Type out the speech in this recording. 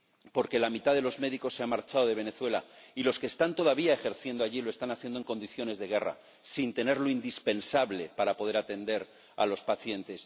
Porque la mitad de los médicos se han marchado de Venezuela y los que están todavía ejerciendo allí lo están haciendo en condiciones de guerra, sin tener lo indispensable para poder atender a los pacientes.